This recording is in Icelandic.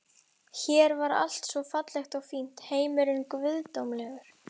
Hér var allt svo fallegt og fínt, heimurinn guðdómlegur.